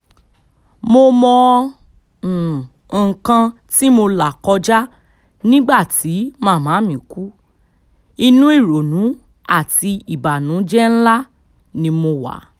mo mọ um nǹkan tí mo là kọjá nígbà tí màmá mi kú inú ìrònú àti ìbànújẹ́ ńlá um ni mo wà